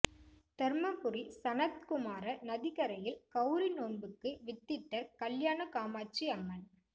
தர்மபுரி சனத்குமார நதிக்கரையில் கௌரி நோன்புக்கு வித்திட்ட கல்யாண காமாட்சி அம்மன்